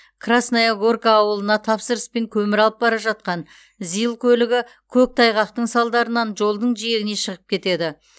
красная горка ауылына тапсырыспен көмір алып бара жатқан зил көлігі көктайғақтың салдарынан жолдың жиегіне шығып кетеді